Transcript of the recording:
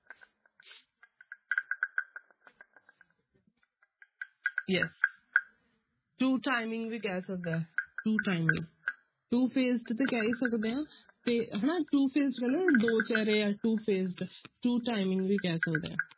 Yes two timing ਵੀ ਕਹਿ ਸਕਦੇ ਹਾਂ two timing two-faced ਤੇ ਕਹਿ ਹੀ ਸਕਦੇ ਹਾਂ ਤੇ ਹਨਾ ਤੇ ਹਨਾ two-faced ਕਹਿੰਦੇ ਨਾ ਦੋ ਚਿਹਰੇ ਆ two-faced two timing ਵੀ ਕਹਿ ਸਕਦੇ ਹਾਂ।